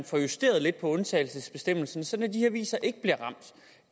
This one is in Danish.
får justeret lidt på undtagelsesbestemmelsen sådan at de her aviser ikke bliver ramt